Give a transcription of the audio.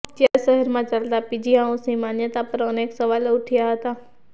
ત્યારે શહેરમાં ચાલતા પીજી હાઉસની માન્યતા પર અનેક સવાલો ઉઠ્યા હતા